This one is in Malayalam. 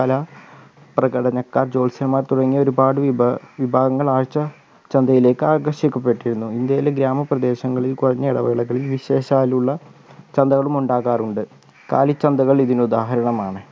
കലാ പ്രകടനക്കാർ ജോത്സ്യന്മാർ തുടങ്ങിയ ഒരുപാട് വിഭാ വിഭാഗങ്ങൾ ആഴ്ച ചന്തയിലേക്ക് ആകർഷിക്കപ്പെട്ടിരുന്നു ഇന്ത്യയിൽ ഗ്രാമപ്രദേശങ്ങളിൽ കുറഞ്ഞ ഇടവേളകളിൽ വിശേഷാലുള്ള ചന്തകളും ഉണ്ടാകാറുണ്ട് കാലിചന്തകൾ ഇതിനു ഉദാഹരണമാണ്